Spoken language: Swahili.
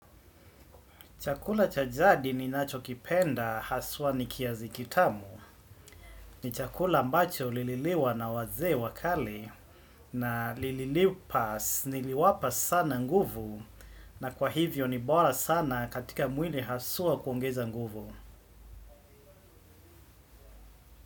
Chakula cha jadi ninacho kipenda haswa ni kiazi kitamu ni chakula ambacho lililiwa na wazee wa kale na liliwapa sana nguvu na kwa hivyo ni bora sana katika mwili haswa kuongeza nguvu.